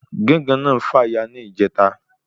Gángan náà fàya ní ìjẹta